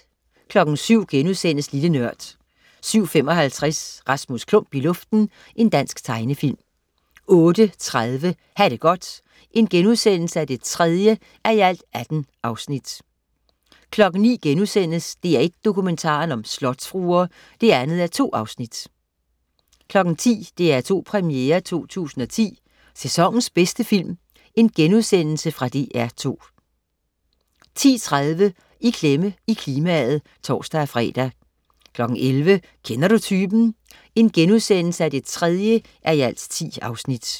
07.00 Lille Nørd* 07.55 Rasmus Klump i luften. Dansk tegnefilm 08.30 Ha' det godt 3:18* 09.00 DR1 Dokumentaren: Slotsfruer 2:2* 10.00 DR2 Premiere 2010. Sæsonens bedste film.* Fra DR2 10.30 I klemme i klimaet (tors-fre) 11.00 Kender du typen? 3:10*